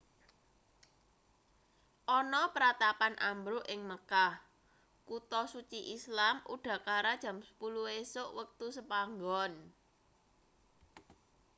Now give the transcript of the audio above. ana pratapan ambruk ing mekah kutha suci islam udakara jam 10 esuk wektu sepanggon